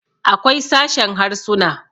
akwai sashen Harsuna